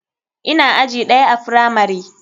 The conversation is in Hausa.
Ina aji ɗaya a firamari.